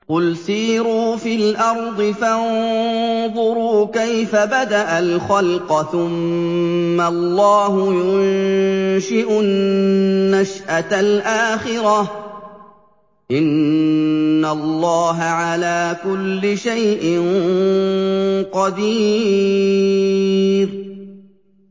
قُلْ سِيرُوا فِي الْأَرْضِ فَانظُرُوا كَيْفَ بَدَأَ الْخَلْقَ ۚ ثُمَّ اللَّهُ يُنشِئُ النَّشْأَةَ الْآخِرَةَ ۚ إِنَّ اللَّهَ عَلَىٰ كُلِّ شَيْءٍ قَدِيرٌ